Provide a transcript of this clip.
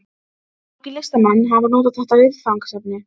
Margir listamenn hafa notað þetta viðfangsefni.